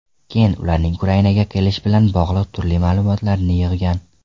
Keyin ularning Ukrainaga kelishi bilan bog‘liq turli ma’lumotlarni yig‘gan.